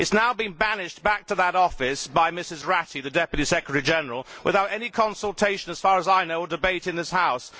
It has now been banished back to that office by Ms Ratti, the Deputy Secretary General, without any consultation as far as I know or debate in this House.